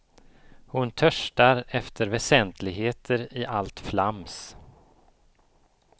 Hon törstar efter väsentligheter i allt flams.